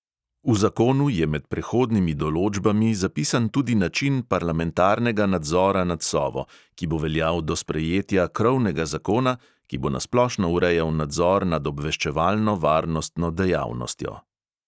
V zakonu je med prehodnimi določbami zapisan tudi način parlamentarnega nadzora nad sovo, ki bo veljal do sprejetja krovnega zakona, ki bo na splošno urejal nadzor nad obveščevalno-varnostno dejavnostjo.